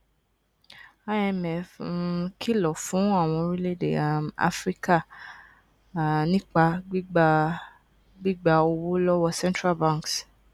imf um kìlọ fún àwọn orílẹèdè um áfíríkà um nípa gbígba gbígba owó lówó central banks